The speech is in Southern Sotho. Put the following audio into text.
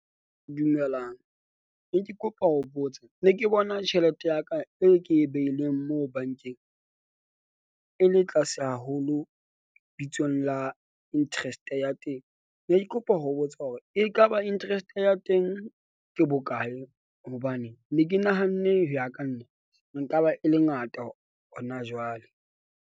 Dumelang, ne ke kopa ho botsa ne ke bona tjhelete ya ka e ke e behileng moo bank-eng e le tlase haholo. Bitsong la interest-e ya teng. Ne ke kopa ho botsa hore ekaba interest ya teng ke bokae? Hobane ne ke nahanne ho ya ka nna nka ba e le ngata hona jwale.